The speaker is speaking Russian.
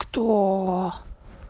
ктоо